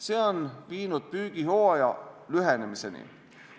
See on viinud püügihooaja lühenemiseni.